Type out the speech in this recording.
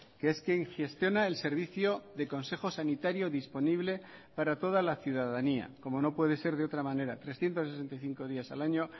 que es quien gestiona el servicio de consejo sanitario disponible para toda la ciudadanía como no puede ser de otra manera trescientos sesenta y cinco días al año